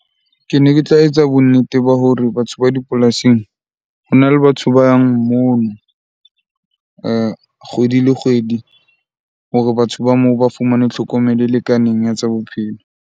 Kene ke tla etsa bonnete ba hore batho ba dipolasing hona le batho ba yang mono kgwedi le kgwedi hore batho ba moo ba fumane tlhokomelo e lekaneng ya tsa bophelo.